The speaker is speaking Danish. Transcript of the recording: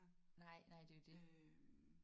Nej nej det er jo det